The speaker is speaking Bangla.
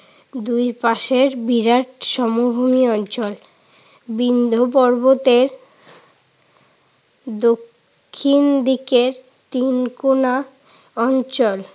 দুই পাশের বিরাট সমভূমির অঞ্চল। বিন্ধ্য পর্বতের দক্ষিণ দিকের তিন কোণা অঞ্চল।